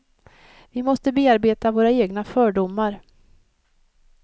Vi måste bearbeta våra egna fördomar.